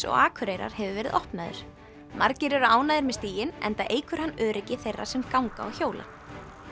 og Akureyrar hefur verið opnaður margir eru ánægðir með stíginn enda eykur hann öryggi þeirra sem ganga og hjóla